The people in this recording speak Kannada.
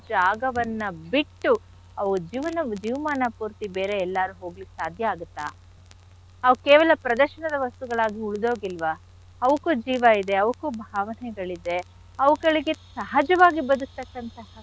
ಜಾಗವನ್ನ ಬಿಟ್ಟು ಅವು ಜೀವನ ಜೀವಮಾನ ಪೂರ್ತಿ ಬೇರೆ ಎಲ್ಲಾರು ಹೋಗ್ಲಿಕ್ಕೆ ಸಾಧ್ಯ ಆಗತ್ತ? ಅವು ಕೇವಲ ಪ್ರದರ್ಶನದ ವಸ್ತುಗಳಾಗಿ ಉಳ್ದೋಗಿಲ್ವ? ಅವುಕ್ಕು ಜೀವ ಇದೆ, ಅವಕ್ಕು ಭಾವನೆಗಳಿದೆ, ಅವುಗಳಿಗೆ ಸಹಜವಾಗಿ ಬದ್ಕ್ತಕ್ಕಂಥಹ.